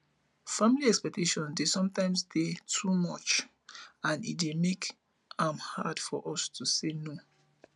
family expectations dey sometimes dey too much and e dey make am hard for us to say no